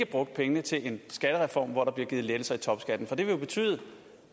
brugt pengene til en skattereform hvor der bliver givet lettelser af topskatten for det ville jo betyde